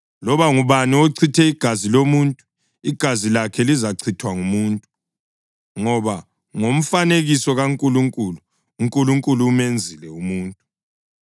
Loba ngubani ochitha igazi lomuntu, igazi lakhe lizachithwa ngumuntu; ngoba ngomfanekiso kaNkulunkulu, uNkulunkulu umenzile umuntu.